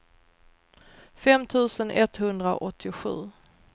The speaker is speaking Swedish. fem tusen etthundraåttiosju